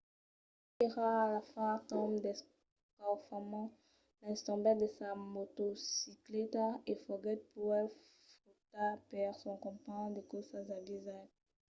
del temps qu’èra a far lo torn d’escaufament lenz tombèt de sa motocicleta e foguèt puèi trucat per son companh de corsa xavier zayat